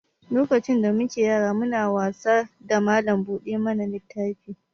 Lokacin da mu ke yara mu na wasa da mallam buɗe mana littafi.